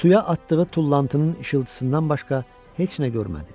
Suya atdığı tullantının işıltısından başqa heç nə görmədi.